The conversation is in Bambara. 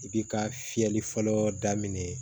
I bi ka fiyɛli fɔlɔ daminɛ